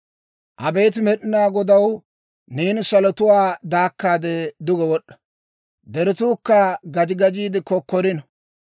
Abeet Med'inaa Godaw, neeni salotuwaa daakkaade duge wod'd'a! Deretuukka gaji gajiide kokkorino.